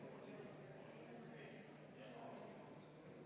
Me oleme praegu suure maratoni alguses.